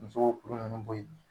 Muso kuru nunnu bo ye